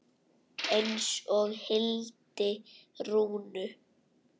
Eins og Hildi Rúnu.